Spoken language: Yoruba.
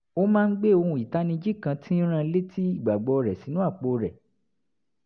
ó máa ń gbé ohun ìtanijí kan tí ń rán an léti ìgbàgbọ́ rẹ̀ sínú àpò rẹ̀